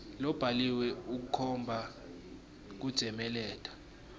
lobhaliwe ukhomba kutsemeleta